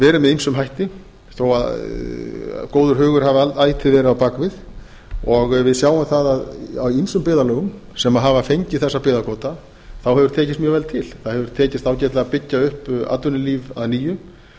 verið með ýmsum hætti þó að góður hugur hafi ætíð verið á bak við og við sjáum það að í ýmsum byggðarlögum sem hafa fengið þessa byggðakvóta hefur tekist mjög vel til það hefur tekist ágætlega að byggja upp atvinnulíf að nýju